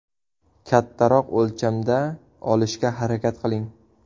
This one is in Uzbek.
Kattaroq o‘lchamda olishga harakat qiling.